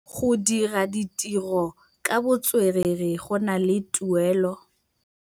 Go dira ditirô ka botswerere go na le tuelô.